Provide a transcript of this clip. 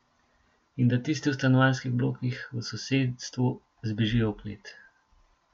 In da tisti v stanovanjskih blokih v sosedstvu zbežijo v klet.